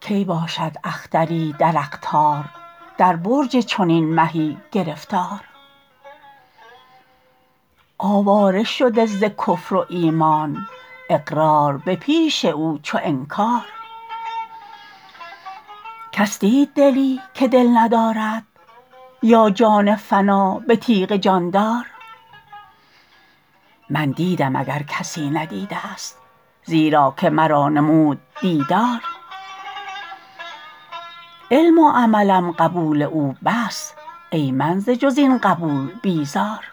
کی باشد اختری در اقطار در برج چنین مهی گرفتار آواره شده ز کفر و ایمان اقرار به پیش او چو انکار کس دید دلی که دل ندارد با جان فنا به تیغ جان دار من دیدم اگر کسی ندیدست زیرا که مرا نمود دیدار علم و عملم قبول او بس ای من ز جز این قبول بیزار